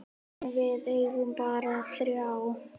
En við eigum bara þrjú.